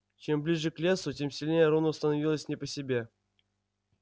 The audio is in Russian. чем ближе к лесу тем сильнее рону становилось не по себе